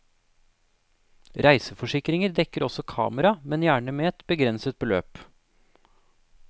Reiseforsikringer dekker også kamera, men gjerne med et begrenset beløp.